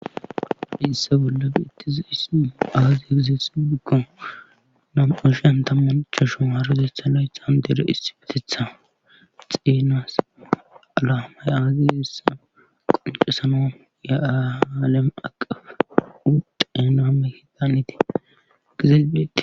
isse bolla bi ittizi hissuuu aazi egizeth bikko nam7oshiyan tamuncha shun arutetha layethan dere issibetetha xenas alaamay aaziissa qoncesano yaaalem aqaf udenaame hidan ite gizelbeette